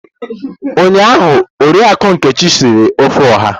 Ụnyaahụ Oriakụ Nkechi siri ofe Oha.